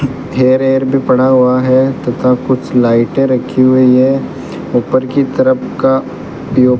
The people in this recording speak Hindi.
थेयर येयर भी पड़ा हुआ है तथा कुछ लाइटे रखी हुई है ऊपर की तरफ का उपयोग --